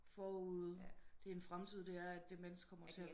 Forud det er en fremtid det er mennesker